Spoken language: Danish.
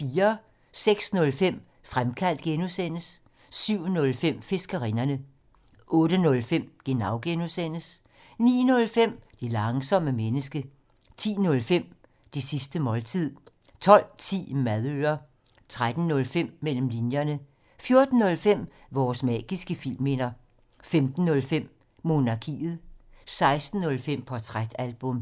06:05: Fremkaldt (G) 07:05: Fiskerinderne 08:05: Genau (G) 09:05: Det langsomme menneske 10:05: Det sidste måltid 12:10: Madøre 13:05: Mellem linjerne 14:05: Vores magiske filmminder 15:05: Monarkiet 16:05: Portrætalbum